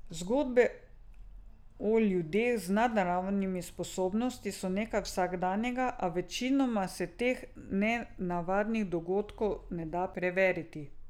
Zgodbe o ljudeh z nadnaravnimi sposobnostmi so nekaj vsakdanjega, a večinoma se teh nenavadnih dogodkov ne da preveriti.